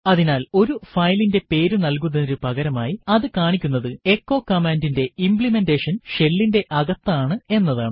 അതിനാൽ ഒരു ഫയലിന്റെ പേരു നൽകുന്നതിനു പകരമായി അതു കാണിക്കുന്നത് എച്ചോ command ന്റെ ഇംപ്ലിമെൻറെഷൻ shell ന്റെ അകത്താണ് എന്നതാണ്